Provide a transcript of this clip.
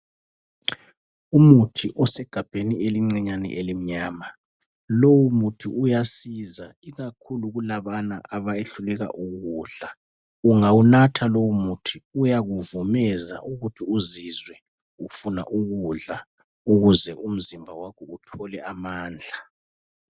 Umuthi osegabheni elincinyane elimnyama. Lowomuthi uyasiza. Ikakhulu kulabana abehluleka ukudla. Ungawunatha lowomuthi, uyakuvumeza ukuthi uzizwe ufuna ukudla. Ukuze umzimba wakho uthole amandla.